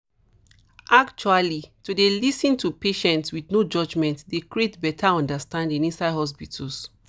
actually to dey lis ten to patients with no judgement dey create better understanding inside hospitals